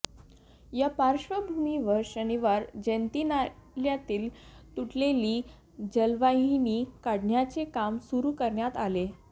या पार्श्वभूमीवर शनिवारी जयंतीनाल्यातील तुटलेली जलवाहिनी काढण्याचे काम सुरू करण्यात आले